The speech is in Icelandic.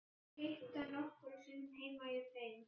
Hún hefur hitt hann nokkrum sinnum heima hjá þeim.